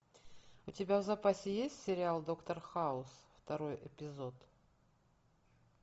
у тебя в запасе есть сериал доктор хаус второй эпизод